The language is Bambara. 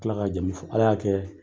A tila ka jamumu fɔ ala y'a kɛ